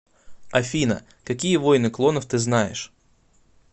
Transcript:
афина какие войны клонов ты знаешь